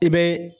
I bɛ